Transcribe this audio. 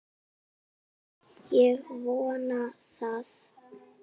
Ég vona það!